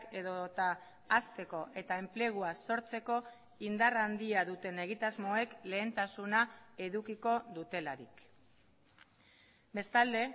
edota hasteko eta enplegua sortzeko indar handia duten egitasmoek lehentasuna edukiko dutelarik bestalde